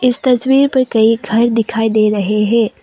इस तस्वीर पर कई घर दिखाई दे रहे हैं।